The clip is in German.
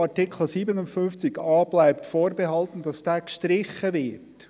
«Artikel 57a bleibt vorbehalten» – gestrichen wird.